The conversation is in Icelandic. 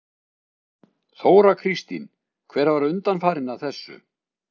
Þóra Kristín: Hver var undanfarinn að þessu?